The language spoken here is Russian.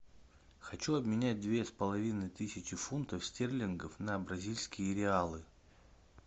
хочу обменять две с половиной тысячи фунтов стерлингов на бразильские реалы